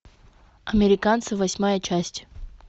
американцы восьмая часть